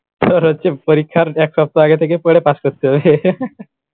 তোর হচ্ছে পরীক্ষার এক সপ্তাহ আগে থেকে পড়ে পাশ করতে হবে